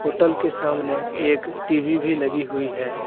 Hotel के सामने एक टी_वी भी लगी हुई है।